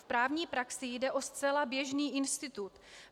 V právní praxi jde o zcela běžný institut.